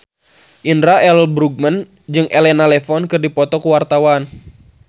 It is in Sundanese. Indra L. Bruggman jeung Elena Levon keur dipoto ku wartawan